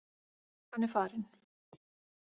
Hann er farinn.